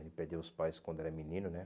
Ele perdeu os pais quando era menino, né?